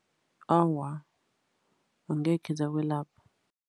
Awa, angekhe zakwelapha.